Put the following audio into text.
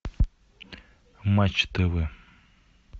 матч тв